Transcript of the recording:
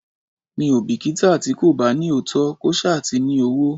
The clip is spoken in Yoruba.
Mi ò bìkítà tí kò bá ní òótọ́, kó ṣá ti ní owó.